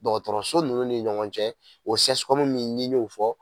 Dɔgɔtɔrɔso nunnu ni ɲɔgɔn cɛ o sɛsikɔmu min n'i y'o fɔ